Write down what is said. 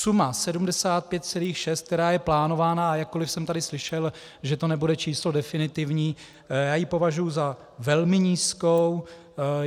Sumu 75,6, která je plánována, a jakkoli jsem tady slyšel, že to nebude číslo definitivní, já považuji za velmi nízkou.